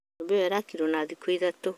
Nyũmba ĩyo yakirwo na thikũ ithatũ